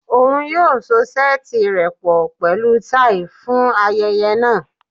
Oun yoo so seeti rẹ pọ pẹlu tai fun ayẹyẹ naa